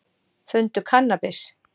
Fundu kannabis